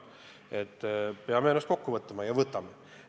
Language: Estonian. Me peame ennast kokku võtma ja võtamegi.